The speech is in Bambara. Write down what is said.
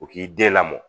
U k'i den lamɔ